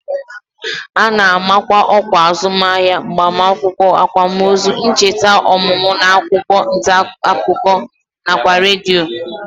A na-amakwa ọkwa azụmahịa, agbamakwụkwọ, akwamozu, ncheta ọmụmụ n'akwụkwọ ntaakụkọ nakwa redio